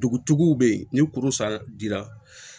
Dugutigiw bɛ yen ni kuru san ji la